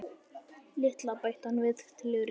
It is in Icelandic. LITLA, bætti hann við til öryggis.